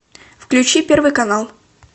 включи первый канал